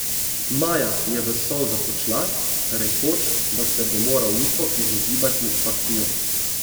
Maja je v solzah odšla, rekoč, da se bo moral Niko izogibati Fakiju.